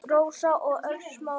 Rósa og Örn Smári.